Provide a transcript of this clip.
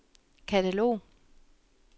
katalog